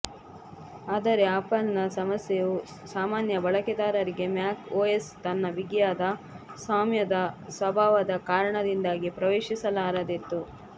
ಆದರೆ ಆಪಲ್ನ ಸಮಸ್ಯೆಯು ಸಾಮಾನ್ಯ ಬಳಕೆದಾರರಿಗೆ ಮ್ಯಾಕ್ ಒಎಸ್ ತನ್ನ ಬಿಗಿಯಾದ ಸ್ವಾಮ್ಯದ ಸ್ವಭಾವದ ಕಾರಣದಿಂದಾಗಿ ಪ್ರವೇಶಿಸಲಾರದೆತ್ತು